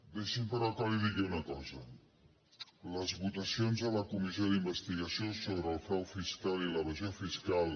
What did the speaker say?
deixi’m però que li digui una cosa les votacions a la comissió d’investigació sobre el frau fiscal i l’evasió fiscal